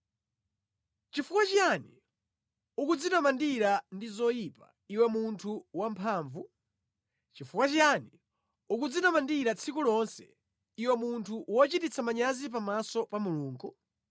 Nʼchifukwa chiyani ukudzitamandira ndi zoyipa, iwe munthu wamphamvu? Nʼchifukwa chiyani ukudzitamandira tsiku lonse, iwe munthu wochititsa manyazi pamaso pa Mulungu?